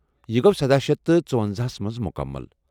یہ گوٚو سَدہ شیتھ تہٕ ژۄنَزہ ہس منٛز مکمل